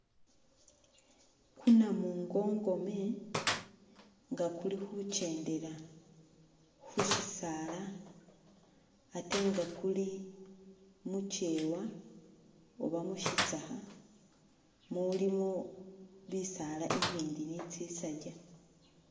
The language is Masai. Ku namungongome nga kuli khukyendela khu shisaala atenga kuli mukyewa oba mishitsakha mulimo bisaala bi bindi nitsisajja.